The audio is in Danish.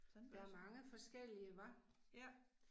Sådan der. Ja